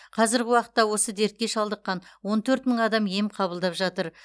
қазіргі уақытта осы дертке шалдыққан он төрт мың адам ем қабылдап жатыр